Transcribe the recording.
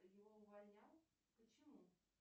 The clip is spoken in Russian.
его увольнял почему